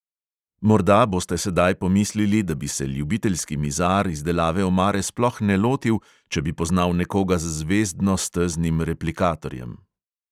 Morda boste sedaj pomislili, da bi se ljubiteljski mizar izdelave omare sploh ne lotil, če bi poznal nekoga z zvezdno-steznim replikatorjem.